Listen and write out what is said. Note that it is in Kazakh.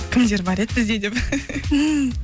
кімдер бар еді бізде деп